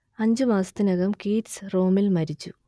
അഞ്ചുമാസത്തിനകം Keats റോമിൽ മരിച്ചു